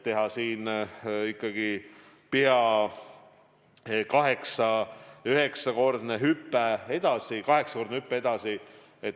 Nüüd on kavas teha ikkagi pea 8–9-kordne hüpe edasi, vahest 8-kordne hüpe edasi.